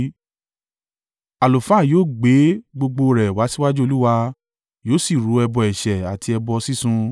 “ ‘Àlùfáà yóò gbé gbogbo rẹ̀ wá síwájú Olúwa, yóò sì rú ẹbọ ẹ̀ṣẹ̀ àti ẹbọ sísun.